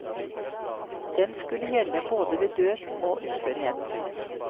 Den skulle gjelde både ved død og uførhet.